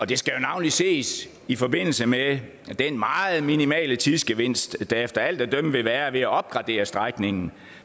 det skal jo navnlig ses i forbindelse med den meget minimale tidsgevinst der efter alt at dømme vil være ved at opgradere strækningen